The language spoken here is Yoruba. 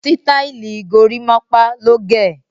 Sítáìlì gorímápá ló gẹ̀.